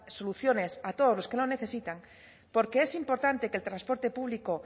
soluciones a todos los que lo necesitan porque es importante que el transporte público